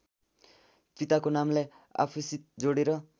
पिताको नामलाई आफूसित जोडेर